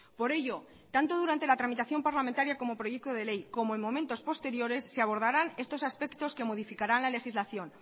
por ello tanto durante la tramitación parlamentaria como proyecto de ley como en momentos posteriores se abordarán estos aspectos que modificarán la legislación